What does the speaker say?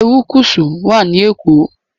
Erékùṣù wà ní Èkó